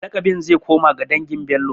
Laƙabin zai koma ga dangin Bello.